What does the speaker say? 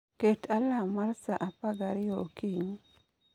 Ket alam mar sa 12 okinyi